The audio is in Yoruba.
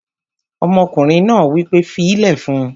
Ọmọkùnrin náà wí pé "fílẹ̀ fún un!"